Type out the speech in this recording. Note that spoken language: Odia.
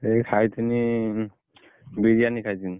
ଏଇ ଖାଇଥିନି ବିରିୟାନୀ ଖାଇଥିନୀ।